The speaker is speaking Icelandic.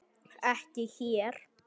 Ekki hér.